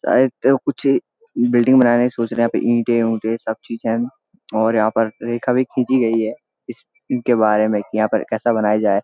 शायद से कुछ बिल्डिंग बनाने का सोच रहे हैं यहाँ पे ईटे उंटे सब चीजे हैं और यहां पर रेखा भी खींची गई है इसके बारे में की यहाँ पर कैसा बनाया जाए।